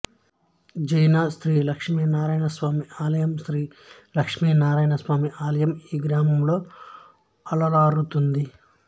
జైనథ్ శ్రీ లక్ష్మీనారాయణస్వామి ఆలయం శ్రీ లక్ష్మీనారాయణస్వామి ఆలయం ఈ గ్రామంలో అలరారుతోంది